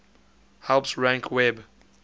helps rank web